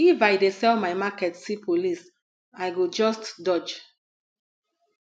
if i dey sell my market see police i go just dodge